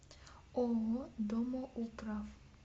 ооо домоуправ